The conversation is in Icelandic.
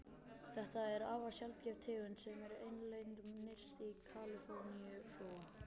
Þetta er afar sjaldgæf tegund sem er einlend nyrst í Kaliforníuflóa.